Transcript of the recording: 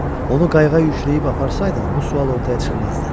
Onu qayıqa yükləyib aparsaydım, bu sual ortaya çıxmazdı.